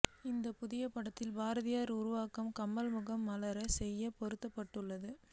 இந்தப் புதிய புகைப்படத்தில் பாரதியார் உருவத்தில் கமல் முகம் மார்ஃப் செய்து பொருத்தப்பட்டுள்ளது